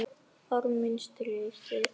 Orð mín stirð.